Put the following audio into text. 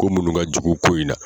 Ko munnu ka jugu ko in na.